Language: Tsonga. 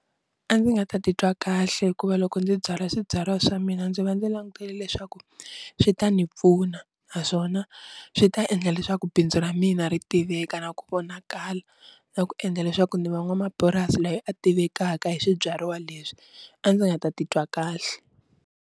A ndzi nga ta titwa kahle hikuva loko ndzi byala swibyariwa swa mina ndzi va ndzi langutele leswaku swi ta ni pfuna naswona swi ta endla leswaku bindzu ra mina ri tiveka na ku vonakala na ku endla leswaku ni va n'wamapurasi loyi a tivekaka hi swibyariwa leswi, a ndzi nga ta titwa kahle.